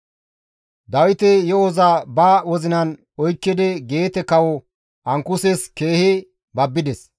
Dawiti yo7oza ba wozinan oykkidi Geete kawo Ankuses keehi babbides.